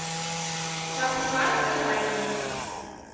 шахмурат кажаринов